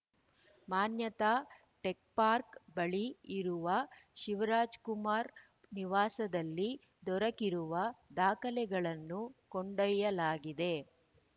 ಮಾನ್ಯತಾ tech park ಬಳಿ ಇರುವ ಶಿವರಾಜ್‌ಕುಮಾರ್‌ ನಿವಾಸದಲ್ಲಿ ದೊರಕಿರುವ ದಾಖಲೆಗಳನ್ನು ಕೊಂಡೊಯ್ಯಲಾಗಿದೆ